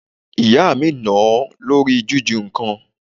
Ìyá mi nà-án lórí jiju nǹkan.